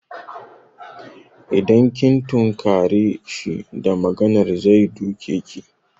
Idan kin tunkare shi da maganar zai duke ki.